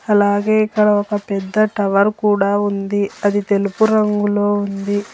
అలాగే ఇక్కడ ఒక పెద్ద టవర్ కూడా ఉంది అది తెలుపు రంగులో ఉంది.